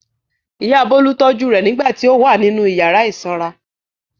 Ìyá Bólú tọ́jú rẹ̀ nígbà tí ó wà nínú ìyàrá ìsanra.